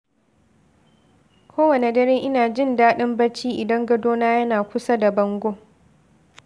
Kowane dare, ina jin daɗin bacci idan gadona yana kusa da bango.